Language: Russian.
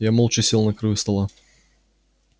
я молча сел на краю стола